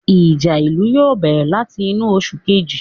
Ìjà ìlú yóò bẹ̀rẹ̀ láti inú oṣù Kejì